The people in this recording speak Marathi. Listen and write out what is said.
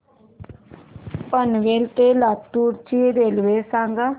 पनवेल ते लातूर ची रेल्वे सांगा